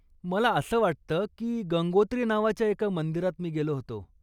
मला असं वाटतं की गंगोत्री नावाच्या एका मंदिरात मी गेलो होतो.